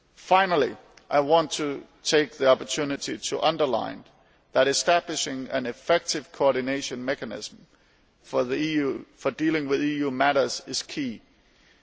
Finally, I want to take the opportunity to underline that establishing an effective coordination mechanism for dealing with EU matters is crucial.